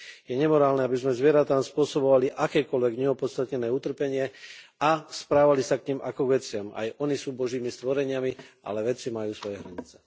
Je nemorálne, aby sme zvieratám spôsobovali akékoľvek neopodstatnené utrpenie a správali sa k nim ako k veciam. Aj ony sú božími stvoreniami, ale veci majú svoje hranice.